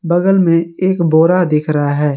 बगल में एक बोरा दिख रहा है।